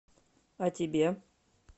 а тебе